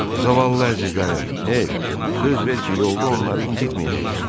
Zavallı əzizlərim, hey, söz ver ki, yolda onları incitməyəcəksən.